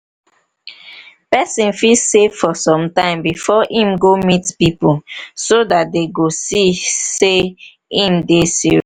family fit sponsor person make im go learn work learn work so dat im go fit dey get money